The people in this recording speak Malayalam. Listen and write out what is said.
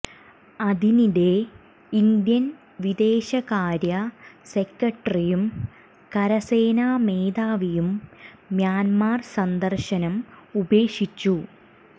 അതിനിടെ ഇന്ത്യൻ വിദേശകാര്യ സെക്രട്ടറിയും കരസേനാ മേധാവിയും മ്യാന്മർ സന്ദർശനം ഉപേക്ഷിച്ചു